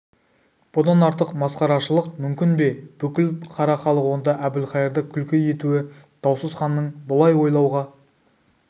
бұдан артық масқарашылық мүмкін бе бүкіл қара халық онда әбілқайырды күлкі етуі даусыз ханның бұлай ойлауға